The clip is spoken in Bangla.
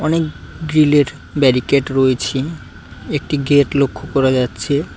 অনেক গ্রীলের ব্যারিকেট রয়েছে একটি গেট লক্ষ করা যাচ্ছে।